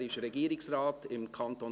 Er ist Regierungsrat im Kanton